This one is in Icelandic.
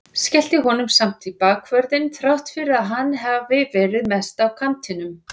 Skellti honum samt í bakvörðinn þrátt fyrir að hann hafi verið mest á kantinum.